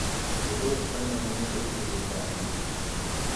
Odok konyo ahinya e tieko parruok.